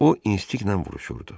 O instinktlə vuruşurdu.